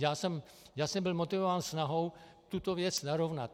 Já jsem byl motivován snahou tuto věc narovnat.